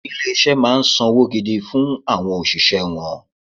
Ilé-iṣẹ́ máa ń sanwó gidi fún àwọn òṣìṣẹ́ wọn